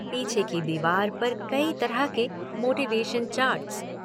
पीछे की दीवार पर कई तरह के मोटीवेशन चार्ट्स।